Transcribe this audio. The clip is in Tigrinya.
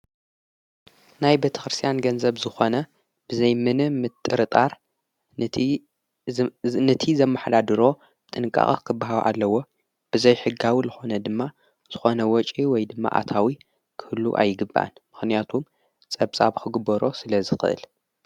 ናይ በተኽርስያን ገንዘብ ዝኾነ ብዘይምን ምጥርጣር ነቲ ዘማኅላድሮ ጥንቃቐ ኽብሃዊ ኣለዎ ብዘይ ሕጋዊ ለኾነ ድማ ዝኾነ ወፂ ወይ ድማ ኣታዊ ክህሉ ኣይግባን ምኽንያቱም ጸብጻብ ኽግበሮ ስለ ዝኽእል።